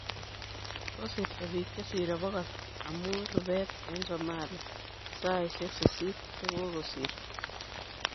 kosirto bik che sirei 100 amu rubet eng somalia saisiek 8 che kakosirto.